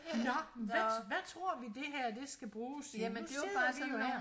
Nå men hvad hvad tror vi det her det skal bruges til nu sidder vi jo her